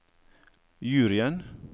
juryen